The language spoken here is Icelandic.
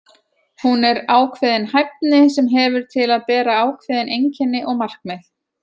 Hún er ákveðin hæfni sem hefur til að bera ákveðin einkenni og markmið.